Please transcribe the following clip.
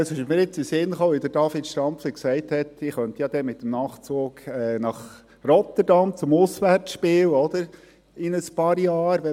Das ist mir in den Sinn gekommen, weil David Stampfli vorhin gesagt hat, man könnte in ein paar Jahren, wenn wir dann einen solchen hätten, mit dem Nachtzug nach Rotterdam zum Auswärtsspiel fahren.